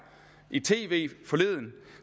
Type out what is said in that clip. i tv forleden